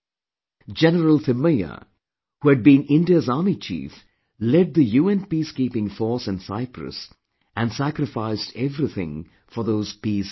General Thimaiyya, who had been India's army chief, lead the UN Peacekeeping force in Cyprus and sacrificed everything for those peace efforts